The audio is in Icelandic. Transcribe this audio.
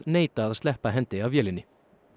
neita að sleppa hendi af vélinni